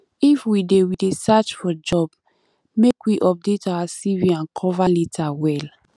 if we dey we dey search for job make we update our cv and cover letter well